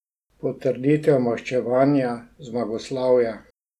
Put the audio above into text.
Potrditev maščevanja, zmagoslavja.